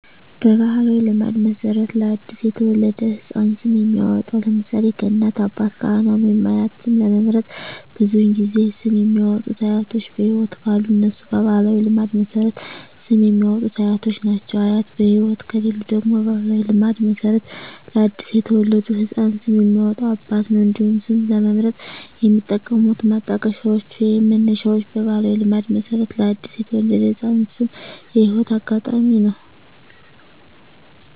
በባሕላዊ ልማድ መሠረት ለ አዲስ የተወለደ ሕፃን ስም የሚያወጣዉ (ለምሳሌ: ከእናት፣ አባት፣ ካህን ወይም አያት) ስም ለመምረጥ ብዙውን ጊዜ ስም የሚያወጡት አያቶች በህይወት ካሉ እነሱ በባህላዊ ልማድ መሠረት ስም የሚያወጡት አያቶች ናቸው። አያት በህይወት ከሌሉ ደግሞ በባህላዊ ልማድ መሠረት ለአዲስ የተወለደ ህፃን ስም የሚያወጣው አባት ነው። እንዲሁም ስም ለመምረጥ የሚጠቀሙት ማጣቀሻዎች ወይንም መነሻዎች በባህላዊ ልማድ መሠረት ለአዲስ የተወለደ ህፃን ስም የህይወት አጋጣሚ ነው።